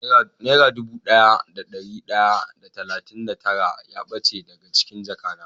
Nera dubu daya da dari daya da talatin da tara ya bace dago cikin jaka na.